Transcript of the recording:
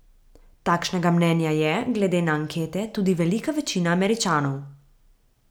Takšnega mnenja je, glede na ankete, tudi velika večina Američanov.